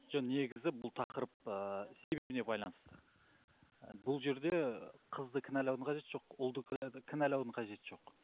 жоқ негізі бұл тақырып ыыы себебіне байланысты бұл жерде қызды кінәлаудың қажеті жоқ ұлды кінәлаудың қажеті жоқ